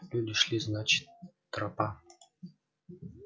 люди шли значит тропа